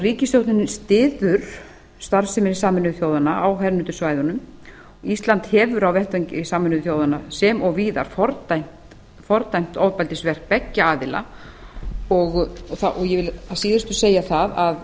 ríkisstjórnin styður starfsemi sameinuðu þjóðanna á hernumdu svæðunum ísland hefur á vettvangi sameinuðu þjóðanna sem og víðar fordæmt ofbeldisverk beggja aðila ég vil að síðustu segja það að